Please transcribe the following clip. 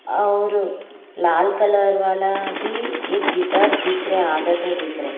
और लाल कलर वाला भी एक गिटार दिख रहा है आधा तो दिख रहा है।